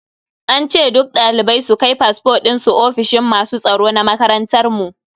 An ce duk dalibai su kai fasfo dinsu ofishin masu tsaro na makarantar mu.